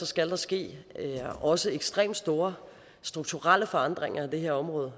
skal der ske også ekstremt store strukturelle forandringer af det her område